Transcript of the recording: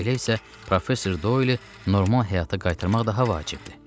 Elə isə professor Doyeli normal həyata qaytarmaq daha vacibdir.